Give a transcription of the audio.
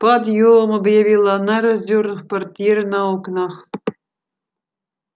подъём объявила она раздёрнув портьеры на окнах